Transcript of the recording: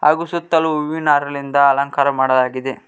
ಹಾಗು ಸುತ್ತಲು ಹೂವಿನ ಹಾರಲಿಂದ ಅಲಂಕಾರ ಮಾಡಲಾಗಿದೆ.